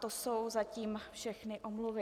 To jsou zatím všechny omluvy.